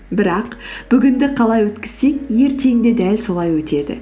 бірақ бүгінді қалай өткізсек ертең де дәл солай өтеді